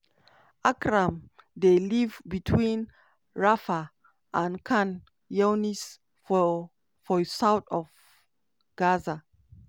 akram dey live between rafah and khan younis for for south of gaza.